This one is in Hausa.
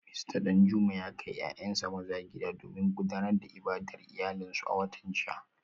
Mista Danjuma ya kai ‘ya’yansa maza gida domin gudanar da ibadar iyalansu a watan jiya